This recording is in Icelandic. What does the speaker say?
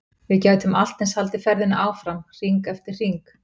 Við gætum allt eins haldið ferðinni áfram, hring eftir hring.